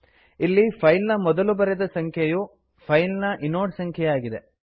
ಇಲ್ಲಿ ಫೈಲ್ ನ ಮೊದಲು ಬರೆದ ಸಂಖ್ಯೆಯು ಫೈಲ್ ನ ಇನೋಡ್ ಸಂಖ್ಯೆಯಾಗಿದೆ